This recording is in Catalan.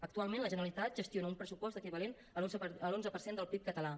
actualment la generalitat gestiona un pressupost equivalent a l’onze per cent del pib català